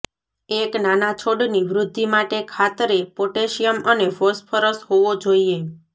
એક નાના છોડની વૃદ્ધિ માટે ખાતરે પોટેશિયમ અને ફોસ્ફરસ હોવો જોઈએ